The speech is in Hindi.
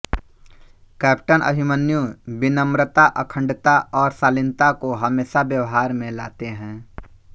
कैप्टन अभिमन्यु विनम्रता अखण्डता और शालीनता को हमेशा व्यवहार में लाते हैं